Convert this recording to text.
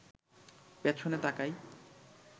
পেছনে তাকায়